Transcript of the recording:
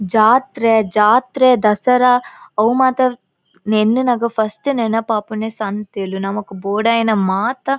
ಜಾತ್ರೆ ಜಾತ್ರೆ ದಸರಾ ಅವ್ ಮಾತ ಎನ್ನ್ ನಗ ಫಸ್ಟ್ ನೆನಪಾಪುನೆ ಸಂತೆಲು ನಮಕ್ ಬೊಡಾಯಿನ ಮಾತ.